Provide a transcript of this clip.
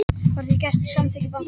Var það gert með samþykki bankans